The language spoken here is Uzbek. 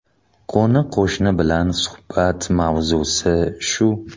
Qo‘ni-qo‘shni bilan suhbat mavzusi shu.